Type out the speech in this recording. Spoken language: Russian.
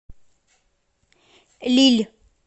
лилль